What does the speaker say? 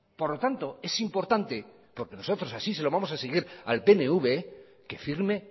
por lo tanto es importante porque nosotros así se lo vamos a exigir al pnv que firme